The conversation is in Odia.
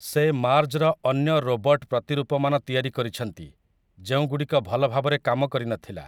ସେ ମାର୍ଜ୍ର ଅନ୍ୟ ରୋବଟ୍ ପ୍ରତିରୂପମାନ ତିଆରି କରିଛନ୍ତି ଯେଉଁଗୁଡ଼ିକ ଭଲଭାବରେ କାମ କରିନଥିଲା ।